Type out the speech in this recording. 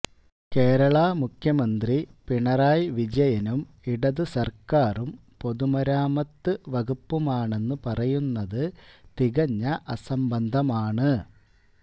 കേരള മുഖ്യമന്ത്രി പിണറായി വിജയനും ഇടതു സർക്കാരും പൊതുമരാമത്ത് വകുപ്പുമാണെന്ന് പറയുന്നത് തികഞ്ഞ അസംബന്ധമാണ്